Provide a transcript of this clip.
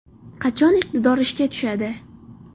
Qachon iqtidor ishga tushadi.